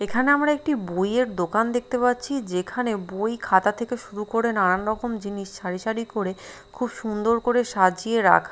এখানে আমরা একটি বইয়ের দোকান দেখতে পাচ্ছি যেখানে বই খাতা থেকে শুরু করে নানান রকম জিনিস সারি সারি করে খুব সুন্দর করে সাজিয়ে রাখ--